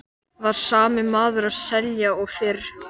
Var sami maður að selja og fyrr?